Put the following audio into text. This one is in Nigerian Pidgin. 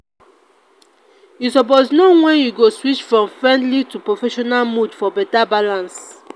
you suppose know wen you go switch from friendly to professional mode for beta balance.